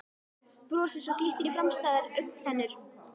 Brosi svo glittir í framstæðar augntennur.